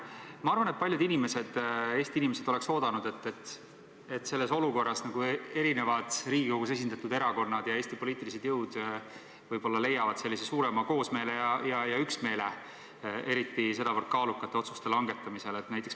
Samas arvan, et paljud Eesti inimesed ootasid, et selles olukorras leiavad Riigikogus esindatud erakonnad ja üldse Eesti poliitilised jõud suurema üksmeele, eriti sedavõrd kaalukate otsuste langetamisel.